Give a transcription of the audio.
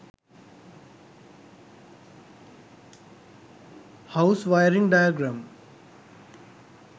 house wiring diagram